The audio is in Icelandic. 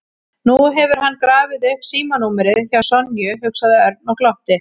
Nú hefur hann grafið upp símanúmerið hjá Sonju, hugsaði Örn og glotti.